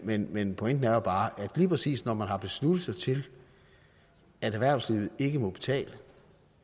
men men pointen er jo bare at lige præcis når man har besluttet sig til at erhvervslivet ikke må betale